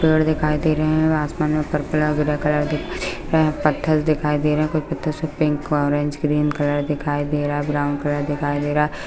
पेड़ दिखाई दे रहे है आसमान में पत्थर दिखाई दे रहे है कुछ पत्थर पिक ऑरेंज ग्रीन कलर दिखाई दे रहा है ब्राउन कलर दिखाई दे रहा है।